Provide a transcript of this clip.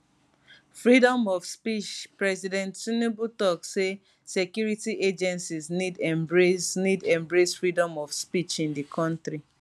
freedom of speech president tinubu tok say security agencies need embrace need embrace freedom of speech in di kontri